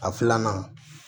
A filanan